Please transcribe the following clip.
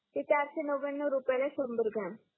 ते चारसे नव्यानो रुपयाला संभर ग्रॉम